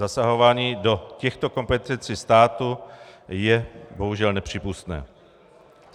Zasahování do těchto kompetencí státu je bohužel nepřípustné.